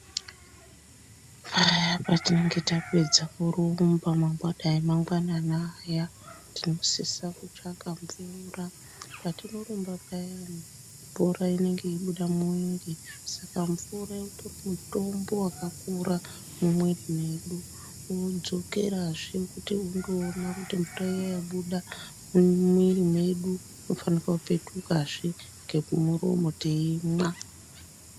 Patinenge tapedza kuramba dai ari mangwanani aya tinosisa kutsvaka mvura patinorumba payani mvura inenge yei buda mumuwiri saka mvura utori mutombo wakakura mumuwiri medu mwodzokera zvee kuti ondowona kuti mvura iyani yabuda mumuwiri medu unofanirwa kupetuka zvee ngeku muromo teimwa.